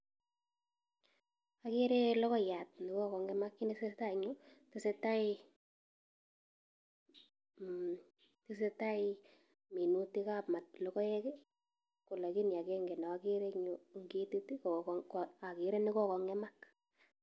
Akere logoiyat nekokong'emak ako tesetai minetab logoek en yu.